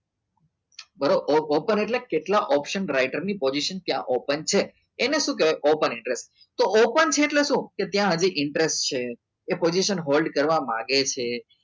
બરો open એટલે open એટલે કેત્લ્લા option writer ની ની position ત્યાં open છે એને સુ કેવાય open interest તો open છે એટલે સુ કે ત્યાં હજી interest છે તે position hold કરવા માંગે છે